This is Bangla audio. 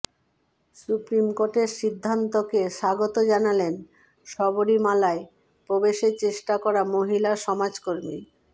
সুপ্রিম কোর্টের সিদ্ধান্তকে স্বাগত জানালেন শবরীমালায় প্রবেশের চেষ্টা করা মহিলা সমাজ কর্মী